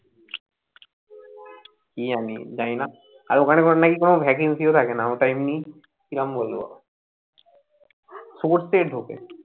কি জানি জানিনা আর ওখানে নাকি কোনো vacancy ও থাকেনা ওটা এমনি কিরম বলবো source ঢোকে